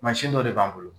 Mansin dɔ de b'an bolo